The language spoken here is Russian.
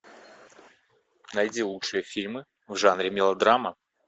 найди лучшие фильмы в жанре мелодрама